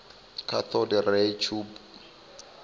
cathode ray tube